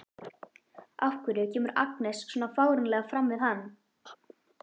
Af hverju kemur Agnes svona fáránlega fram við hann?